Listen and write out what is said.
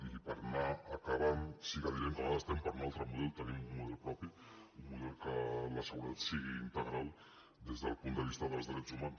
i per anar acabant sí que direm que nosaltres estem per un altre model tenim un model propi un model pel qual la seguretat sigui integral des del punt de vista dels drets humans